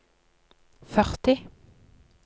førti